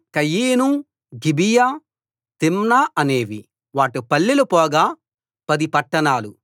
కయీను గిబియా తిమ్నా అనేవి వాటి పల్లెలు పోగా పది పట్టణాలు